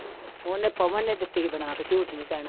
ਉਹਨੇ ਪਵਨ ਨੇ ਦਿੱਤੀ ਸੀ ਬਣਾ ਕੇ ਝੂਠ ਨੀ ਕਹਿਣਾ।